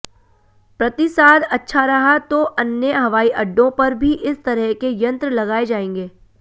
प्रतिसाद अच्छा रहा तो अन्य हवाई अड्डों पर भी इस तरह के यंत्र लगाए जाएंगे